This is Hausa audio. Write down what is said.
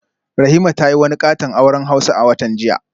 Rahima ta yi wani katon auren hausa a watan jiya